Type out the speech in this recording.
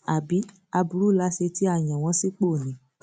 àbí aburú la ṣe tí a yàn wọn sípò ni